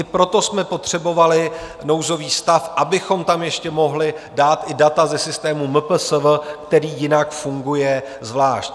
I proto jsme potřebovali nouzový stav, abychom tam ještě mohli dát i data ze systému MPSV, který jinak funguje zvlášť.